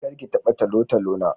Kar ki taba talotalo na.